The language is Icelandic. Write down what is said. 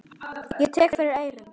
Ég tek fyrir eyrun.